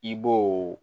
I b'o